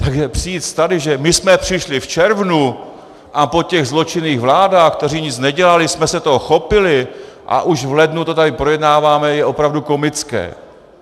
Takže přijít tady, že my jsme přišli v červnu a po těch zločinných vládách, které nic nedělaly, jsme se toho chopili a už v lednu to tady projednáváme, je opravdu komické.